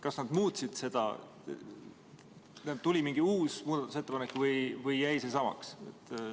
Kas nad muutsid seda, kas tuli mingi uus muudatusettepanek või jäi see samaks?